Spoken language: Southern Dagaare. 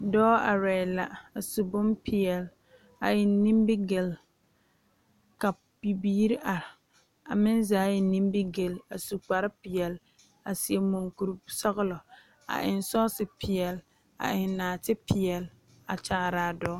Dɔɔ arɛɛ la a su bompeɛle a eŋ nimigele ka bibiiri are a meŋ zaa eŋ nimigele a su kpar peɛle a seɛ mɔŋkuri sɔgelɔ a eŋ sɔɔse peɛle a eŋ naate peɛle ka yaaraa dɔɔ